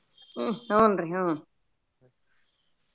ಹುನ್ರಿ ಹುನ್ರಿ.